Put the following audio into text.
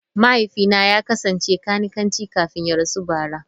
Mahaifina ya kasance kanikanci kafin ya rasu bara.